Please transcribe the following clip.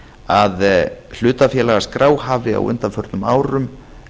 að hlutafélagaskrá hafi á undanförnum árum